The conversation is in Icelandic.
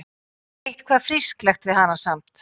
Eitthvað frísklegt við hana samt.